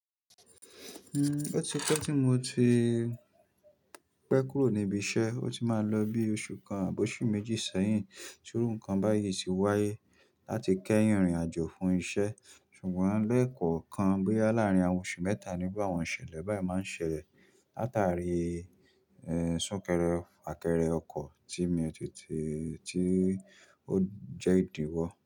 Hmm, ọtí pé tí mo ti pé kúrò níbi iṣẹ́, ó ti máa lọ bí oṣù kan àbí oṣù méjì sẹ́yìn tí irú ǹkan báyìí ti wáyé láti kẹ́yìn ìrìnàjò fún iṣẹ́. Ṣùgbọ́n lẹ̀kọ̀ọ̀kan bóyá láàrin oṣù mẹ́ta ni àwọn ìṣẹ̀lẹ̀ báyìí máa ń ṣẹlẹ̀, látàrí eh súnkẹrẹ fàkẹrẹ ọkọ̀ tí mi ò tètè, tí ó jẹ́ ìdíwọ́.